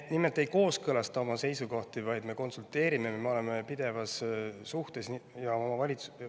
Me nimelt ei kooskõlasta oma seisukohti, vaid me konsulteerime või oleme pidevas suhtluses.